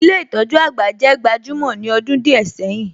Ilé ìtójú àgbà jẹ́ gbajúmọ̀ ní ọdún díẹ̀ sẹ́yìn.